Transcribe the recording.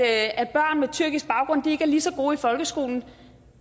at børn med tyrkisk baggrund ikke er lige så gode i folkeskolen